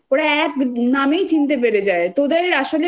ওরা এক নামেই চিনতে পেরে যায় তোদের আসলে তোদের